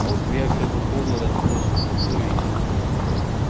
а у тебя всё по полу разбросано спорю я